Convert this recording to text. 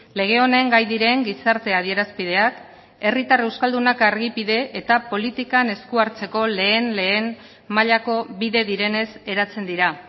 lege honen gai diren gizarte adierazpideak herritar euskaldunak argipide eta politikan esku hartzeko lehen lehen mailako bide direnez eratzen dira